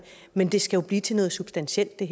men det her skal jo blive til noget substantielt det